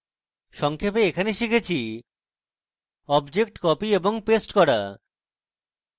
সংক্ষেপে in tutorial আমরা শিখেছি objects copy এবং paste copy